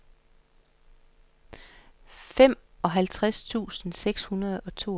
femoghalvtreds tusind seks hundrede og toogfirs